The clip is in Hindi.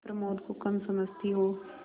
प्रमोद को कम समझती हो